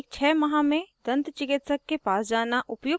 * दिन में दो बार ब्रश करें